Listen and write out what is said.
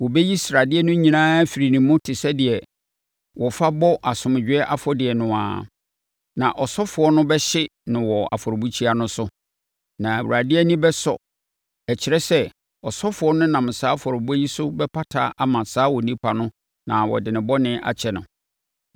Wɔbɛyi sradeɛ no nyinaa afiri mu te sɛ deɛ wɔfa bɔ asomdwoeɛ afɔdeɛ no ara. Na ɔsɔfoɔ no bɛhye no wɔ afɔrebukyia no so. Na Awurade ani bɛsɔ. Ɛkyerɛ sɛ, ɔsɔfoɔ no nam saa afɔrebɔ yi so bɛpata ama saa onipa no na wɔde ne bɔne bɛkyɛ no.